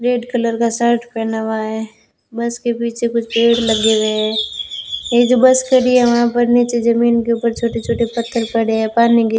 red colour का shirt पहना हुआ है बस के पीछे कुछ पेड़ लगे हुए हैं ये जो बस खड़ी हैं वहां पर नीचे जमीन के ऊपर छोटे छोटे पत्थर पड़े हैं पानी --